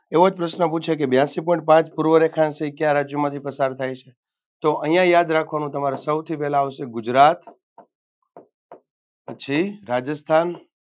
એવોજ પ્રશ્ન પૂછાય કે બ્યાસી point પાંચ પૂર્વ રેખાંશ એ કયા રાજ્યમાંથી પસાર થાય છે તો અહિયાં યાદ રાખવાનું તમારે સૌથી પહેલા આવશે ગુજરા પછી રાજસ્થાન